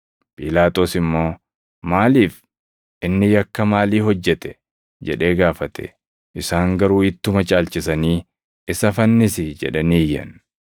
Phiilaaxoos immoo, “Maaliif? Inni yakka maalii hojjete?” jedhee gaafate. Isaan garuu ittuma caalchisanii, “Isa fannisi!” jedhanii iyyan.